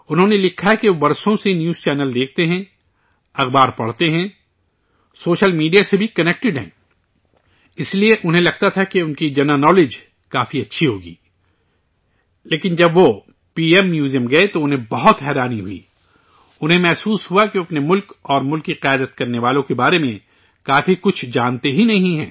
انہوں نے لکھا ہے کہ وہ برسوں سے نیوز چینل دیکھتے ہیں، اخبار پڑھتے ہیں، سوشل میڈیا سے بھی جڑے ہوئے ہیں، اس لیے انہیں لگتا تھا کہ ان کی جنرل نالیج کافی اچھی ہوگی، لیکن، جب وہ پی ایم میوزیم گئے تو انہیں بہت حیرانی ہوئی، انہیں محسوس ہوا کہ وہ اپنے ملک اور ملک کی قیادت کرنے والوں کے بارے میں کافی کچھ جانتے ہی نہیں ہیں